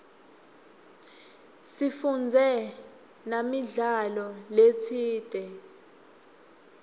sifundze namidlalo letsite